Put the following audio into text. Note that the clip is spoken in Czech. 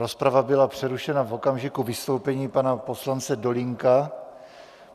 Rozprava byla přerušena v okamžiku vystoupení pana poslance Dolínka.